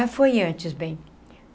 Foi antes, bem.